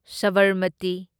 Sabarmati